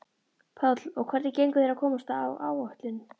Páll: Og hvernig gengur þér að komast á áætlun?